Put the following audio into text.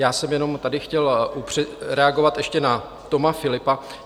Já jsem jenom tady chtěl reagovat ještě na Toma Philippa.